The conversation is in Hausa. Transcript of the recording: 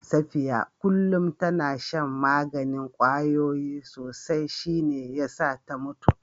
Safiya kullum tana shan maganin kwayoyi sosai shi ne ya sa ta mutu